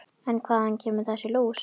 En hvaðan kemur þessi lús?